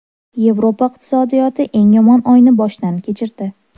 Yevropa iqtisodiyoti eng yomon oyni boshdan kechirdi.